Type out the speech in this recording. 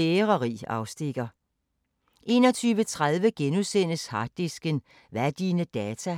13:05: Mikrofonholder 14:05: Finnsk Terapi (G)